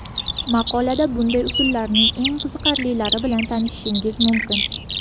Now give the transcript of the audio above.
Maqolada bunday usullarning eng qiziqarlilari bilan tanishishingiz mumkin.